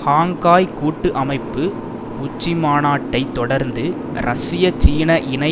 Shanghai கூட்டு அமைப்பு உச்சிமாநாட்டை தொடர்ந்து ரஷ்ய சீன இணை